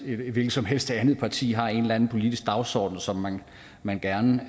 hvilket som helst andet parti har en eller anden politisk dagsorden som man gerne